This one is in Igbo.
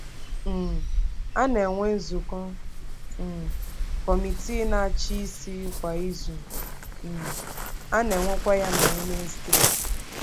um A na-enwe nzukọ um Kọmitii Na-achị Isi kwa izu, um a na-enwekwa ya na Wenesidee.